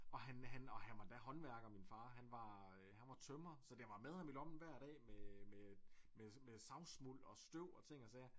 Og han han og han var endda håndværker min far han var han var tømrer så den var med ham i lommen hver dag med med med med savsmuld og støv og ting og sager